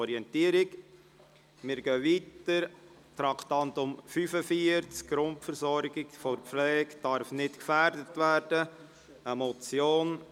Wir fahren weiter mit dem Traktandum 45, «Grundversorgung der Pflege darf nicht gefährdet werden», eine Motion.